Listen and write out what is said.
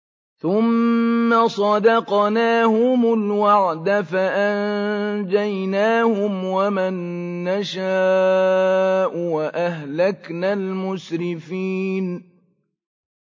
ثُمَّ صَدَقْنَاهُمُ الْوَعْدَ فَأَنجَيْنَاهُمْ وَمَن نَّشَاءُ وَأَهْلَكْنَا الْمُسْرِفِينَ